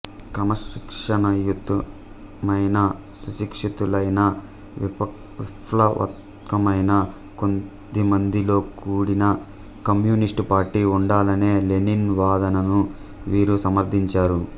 క్రమశిక్షణాయుతమైన సుశిక్షితులైన విప్లవాత్మకమైన కొద్దిమందితో కూడిన కమ్యూనిస్టు పార్టీ ఉండాలనే లెనిన్ వాదనను వీరు సమర్థించారు